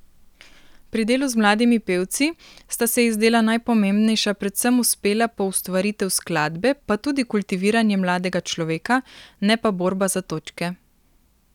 Pri delu z mladimi pevci sta se ji zdela najpomembnejša predvsem uspela poustvaritev skladbe pa tudi kultiviranje mladega človeka, ne pa borba za točke.